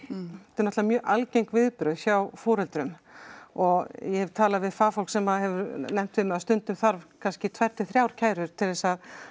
eru náttúrulega mjög algeng viðbrögð hjá foreldrum og ég hef talið við fagfólk sem að hefur nefnt við mig að stundum þarf kannski tvær til þrjár kærur til þess að